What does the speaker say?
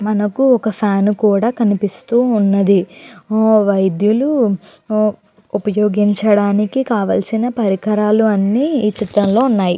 మనకు ఒక ఫ్యాన్ కూడా కనిపిస్తూ ఉన్నది. వైద్యులు ఉపయోగించడానికి కావాల్సిన పరికరాలు అన్నీ ఈ చిత్రం లో ఉన్నాయి.